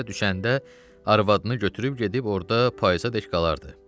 İstilər düşəndə arvadını götürüb gedib orda payızadək qalardı.